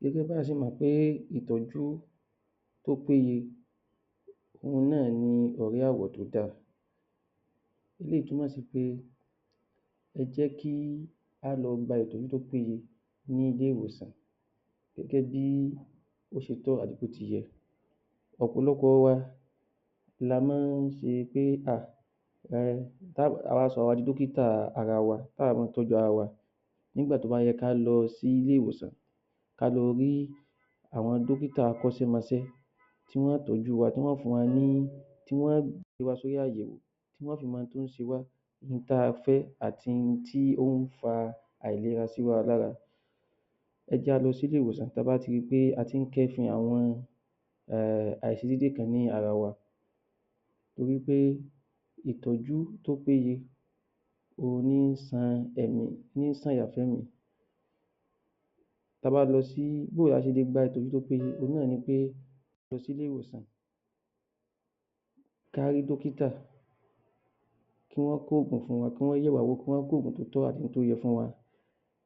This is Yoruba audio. Gẹ́gẹ́bí a ṣe mọ̀ pé ìtọ́jú tó péye, òhun náà ni ẹ̀rí àwọ̀ tó dáa. Eléyìí túmọ̀ sí pé ẹjẹ́kí á lọ gba ìtọ́jú tó péye ní ilé-ìwòsàn gẹ́gẹ́bí ó ṣe tọ́ àti bótiyẹ. Ọ̀pọ̀lọpọ̀ wa la máa ń ṣe pé um awá sọra wa di dọ́kítà ara wa táà bá ń tọ́jú ara wa. Nígbà tó bá yẹ ká lọ sí ilé-ìwòsàn ká lọ rí àwọn dọ́kíta akọ́ṣẹ́mọṣẹ́ tí wọ́n tọ́jú wa, tí wọ́n fún wa ní, tí wọ́n gbé wa sórí àyẹ̀wò, tí wọ́n fi mọ ohun tó ń ṣe wá, ní n tá fẹ́ àti n tí ó ń fa àìlera síwa lára. Ẹ jẹ́ a lọ sí ilé-ìwòsàn tá ba ti ri pé a tí ń kẹ́fin àwọn um àìṣedédé kan ní ara wa. Torí pé ìtọ́jú tó péye, ohun ní ń san ẹni, ní ń sànyà fẹ́mì. Ta bá lọ sí, Bóò la ṣe lè gba ìtọ́jú tó péye, òhun náà ni pé, lọ sí ilé-ìwòsàn ká rí dọ́kítà, kí wọ́n kó ògùn fún wa, kán yẹ̀wá wò, kí wọ́n kó ògùn tó tọ́ àti tó yẹ fún wa.